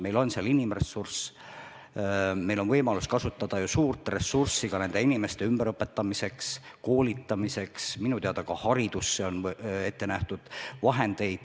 Meil on seal inimressurss ja me saame kasutada suurt ressurssi ka nende inimeste ümberõpetamiseks ja koolitamiseks – minu teada on ka haridusse vahendid ette nähtud.